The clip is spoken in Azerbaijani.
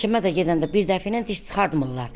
Həkimə də gedəndə bir dəfinə diş çıxartmırlar.